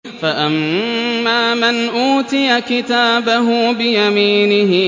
فَأَمَّا مَنْ أُوتِيَ كِتَابَهُ بِيَمِينِهِ